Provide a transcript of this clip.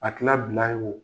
A kɛla bilan ye wo